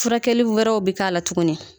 Furakɛli wɛrɛw bi k'a la tuguni